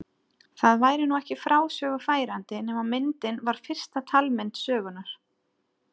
Það væri nú ekki frásögu færandi nema myndin var fyrsta talmynd sögunnar.